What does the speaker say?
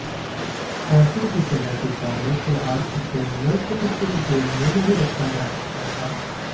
फांसी की सजा के कारण फिलहाल उसे नरसिंहपुर जेल में नहीं रखा जा सकता था